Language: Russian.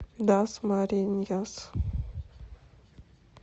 дасмариньяс